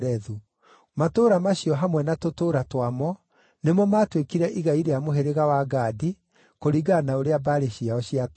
Matũũra macio hamwe na tũtũũra twamo nĩmo maatuĩkire igai rĩa mũhĩrĩga wa Gadi, kũringana na ũrĩa mbarĩ ciao ciatariĩ.